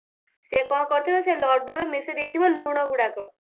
ସେ କଣ କରିଥିବ ସେ ଲଡ୍ଡୁରେ ମିଶେଇ ଦେଇଥିବ ଲୁଣ ଗୁଡାକ